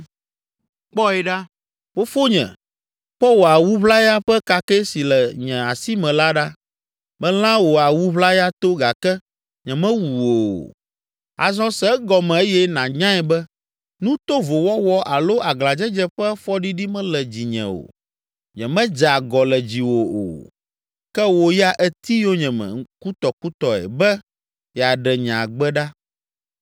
Kpɔe ɖa, fofonye, kpɔ wò awu ʋlaya ƒe kakɛ si le nye asi me la ɖa! Melã wò awu ʋlaya to gake nyemewu wò o. Azɔ se egɔme eye nànyae be nu tovo wɔwɔ alo aglãdzedze ƒe fɔɖiɖi mele dzinye o. Nyemedze agɔ le dziwò o, ke wò ya èti yonyeme kutɔkutɔe be yeaɖe nye agbe ɖa.